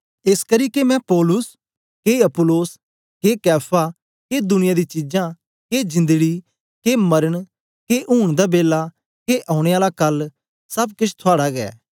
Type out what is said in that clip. एसकरी के मैं पौलुस के अपुल्लोस के कैफा के दुनिया दी चीजां के जिंदड़ी के मरन के ऊँन दा बेला के औने आला कल सब केछ थुआड़ा ऐ